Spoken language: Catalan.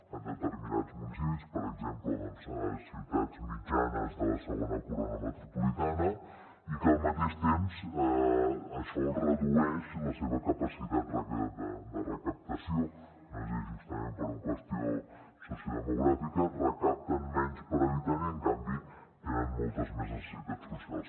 en determinats municipis per exemple doncs a ciutats mitjanes de la segona corona metropolitana i que al mateix temps això els redueix la seva capacitat de recaptació no és a dir justament per una qüestió sociodemogràfica recapten menys per habitant i en canvi tenen moltes més necessitats socials